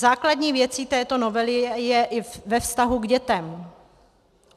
Základní věcí této novely je i ve vztahu k dětem.